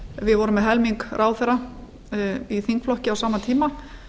við vorum með helming ráðherra í þingflokki á sama tíma